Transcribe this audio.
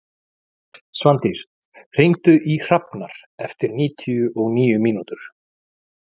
Svandís, hringdu í Hrafnar eftir níutíu og níu mínútur.